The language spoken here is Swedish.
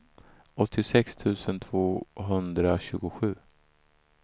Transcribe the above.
åttiosex tusen tvåhundratjugosju